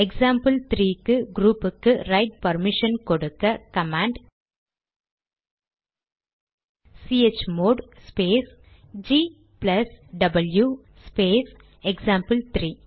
எக்சாம்பிள்3 க்கு க்ரூப்புக்கு write permission கொடுக்க command chmod space G plus W space எக்சாம்பிள்3